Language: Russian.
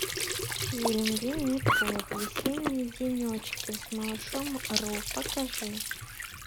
фильм винни пух весенние денечки с малышом ру покажи